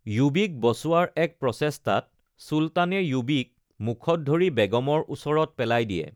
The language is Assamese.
য়ুৱীক বচোৱাৰ এক প্ৰচেষ্টাত চুলতানে য়ুৱীক মুখত ধৰি বেগমৰ ওচৰত পেলাই দিয়ে।